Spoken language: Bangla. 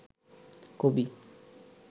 কবি